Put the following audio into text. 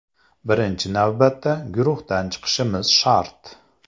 Birinchi navbatda guruhdan chiqishimiz shart.